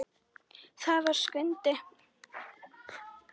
Það var Skundi.